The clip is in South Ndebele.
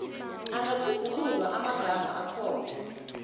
angatjhugululwa amagama akhona